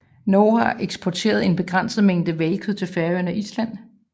Norge har eksporteret en begrænset mængde hvalkød til Færøerne og Island